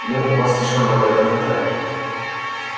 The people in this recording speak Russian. ну у вас слишком богатая фантазия